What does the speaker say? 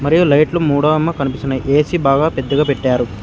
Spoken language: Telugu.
మరియు లైట్లు మూడో అమ్మ కనిపిస్తున్నాయి ఏసి బాగా పెద్దగా పెట్టారు.